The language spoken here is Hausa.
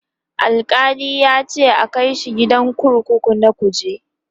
Alkali yace a Kai shi gidan kurkuku na kuje